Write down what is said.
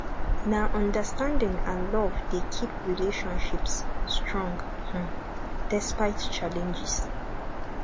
na understanding and love dey keep relationships strong um despite challenges